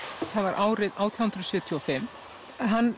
það var árið átján hundruð sjötíu og fimm hann